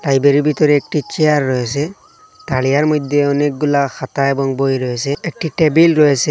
লাইব্রেরির ভিতরে একটি চেয়ার রয়েসে তরিয়ার মইদ্যে অনেকগুলা খাতা এবং বই রয়েসে একটি টেবিল রয়েসে।